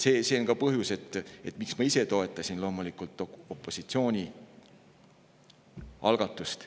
See on ka põhjus, miks ma ise toetasin opositsiooni algatust.